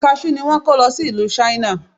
Kaṣú ni wón kọ́ lo sí ìlú Ṣáínà.